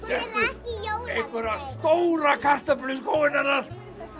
settu stóra kartöflu í skóinn hennar